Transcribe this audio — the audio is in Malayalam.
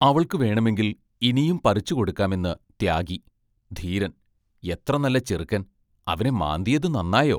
അവൾക്കു വേണമെങ്കിൽ ഇനിയും പറിച്ചുകൊടുക്കാമെന്ന് ത്യാഗി, ധീരൻ എത്ര നല്ല ചെറുക്കൻ അവനെ മാന്തിയതു നന്നായോ?